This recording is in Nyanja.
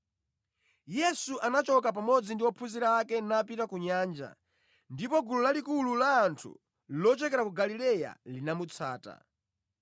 Yesu anachoka pamodzi ndi ophunzira ake napita ku nyanja, ndipo gulu lalikulu la anthu lochokera ku Galileya linamutsata.